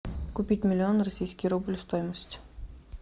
купить миллион российский рубль стоимость